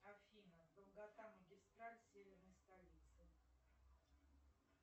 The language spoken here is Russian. афина долгота магистраль северной столицы